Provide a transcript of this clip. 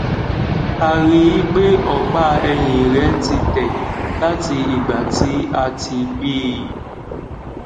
a rí i pé ọpá ẹyìn rẹ ti tẹ láti ìgbà tí a ti bí i